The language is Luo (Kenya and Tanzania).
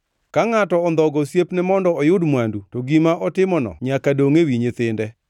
Ka ngʼato ondhogo osiepne mondo oyud mwandu to gima otimono nyaka dongʼ ewi nyithinde.